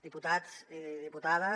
diputats i diputades